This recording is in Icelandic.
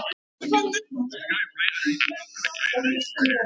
Annars veit ég það ekki.